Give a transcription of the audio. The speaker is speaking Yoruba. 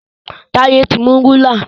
Taye tí mú Rúlà.